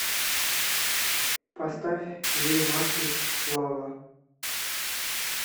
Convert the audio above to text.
поставь две маши лава